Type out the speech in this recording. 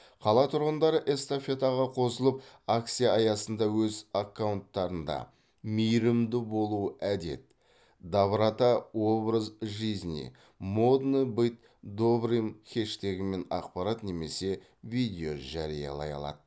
қала тұрғындары эстафетаға қосылып акция аясында өз аккаунттарында мейірімді болу әдет доброта образ жизни модно быть добрым хештегімен ақпарат немесе видео жариялай алады